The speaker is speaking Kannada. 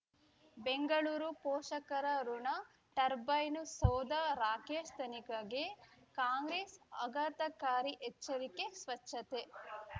ಬೆಂಗಳೂರು ಪೋಷಕರಋಣ ಟರ್ಬೈನು ಸೌಧ ರಾಕೇಶ್ ತನಿಕಗೆ ಕಾಂಗ್ರೆಸ್ ಆಘಾತಕಾರಿ ಎಚ್ಚರಿಕೆ ಸ್ವಚ್ಛತೆ